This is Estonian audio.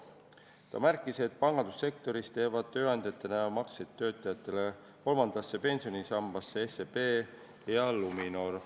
Ta märkis, et pangandussektoris teevad tööandjatena makseid töötajate kolmandasse pensionisambasse SEB ja Luminor.